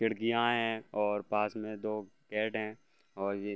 खिड़किया है और पास मे दो कैट है और ये --